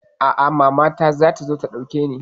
A'a, mama na zata zo ta ɗauke ni.